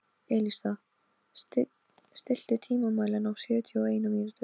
Elísa, stilltu tímamælinn á sjötíu og eina mínútur.